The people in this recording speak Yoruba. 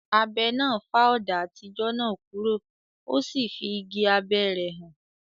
Abẹ náà fá ọ̀dà àtijọ́ náà kúrò, o sì fí igi abẹ́ rẹ̀ hàn.